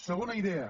segona idea